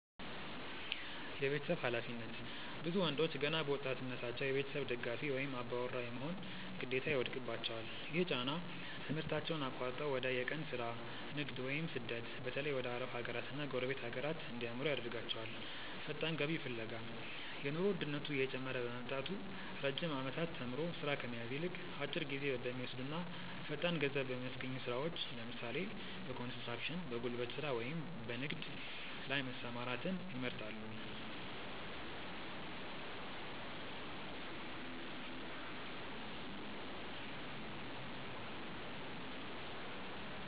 የቤተሰብ ኃላፊነት፦ ብዙ ወንዶች ገና በወጣትነታቸው የቤተሰብ ደጋፊ ወይም "አባወራ" የመሆን ግዴታ ይወድቅባቸዋል። ይህ ጫና ትምህርታቸውን አቋርጠው ወደ የቀን ሥራ፣ ንግድ ወይም ስደት (በተለይ ወደ አረብ ሀገራትና ጎረቤት ሀገራት) እንዲያመሩ ያደርጋቸዋል። ፈጣን ገቢ ፍለጋ፦ የኑሮ ውድነቱ እየጨመረ በመምጣቱ፣ ረጅም ዓመታት ተምሮ ሥራ ከመያዝ ይልቅ፣ አጭር ጊዜ በሚወስዱና ፈጣን ገንዘብ በሚያስገኙ ሥራዎች (ለምሳሌ፦ በኮንስትራክሽን፣ በጉልበት ሥራ ወይም በንግድ) ላይ መሰማራትን ይመርጣሉ።